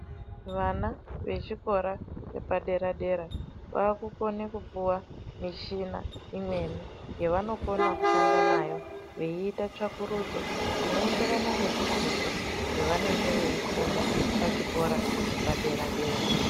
Vana vechikora vepadera dera vakukona kupuwa mishina imweni yavanokona kushanda nayo veita tsvakurudzo dzinoenderana nezvidzidzo zvavanenge veifunda pachikora chepadera dera.